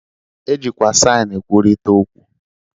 E jikwa saịn e kwurịta okwu.